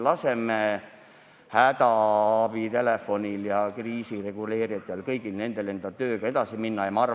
Laseme hädaabitelefonil ja kriisireguleerijatel tööga edasi minna!